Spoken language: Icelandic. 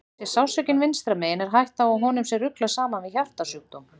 Sé sársaukinn vinstra megin er hætta á að honum sé ruglað saman við hjartasjúkdóm.